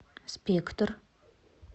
спектр